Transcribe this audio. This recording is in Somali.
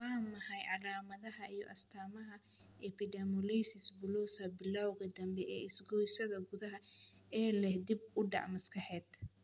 Waa maxay calaamadaha iyo astamaha Epidermolysis bullosa, bilawga dambe ee isgoysyada gudaha, ee leh dib u dhac maskaxeed?